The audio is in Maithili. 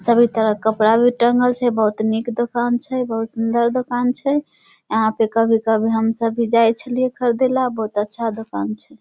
सभी तरह का कपड़ा भी टांगल छै बहुत निक दोकान छै बहुत सुन्दर दोकान छै यहां पे कभी-कभी हम सभी जाय छलिये ख़रीदे ले बहुत अच्छा दोकान छै।